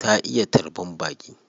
Ta iya tarban baƙi.